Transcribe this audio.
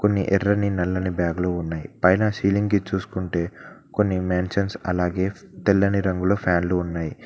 కొన్ని ఎర్రని నల్లని బ్యాగ్ లు ఉన్నాయి. పైన సీలింగ్ కి చూస్కుంటే కొన్ని మ్యాన్షన్స్ అలాగే తెల్లని రంగులో ఫ్యాన్లు ఉన్నాయి.